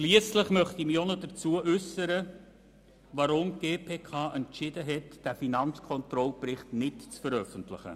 Schliesslich möchte ich mich dazu äussern, warum die GPK entschieden hat, den Finanzkontrollbericht nicht zu veröffentlichen.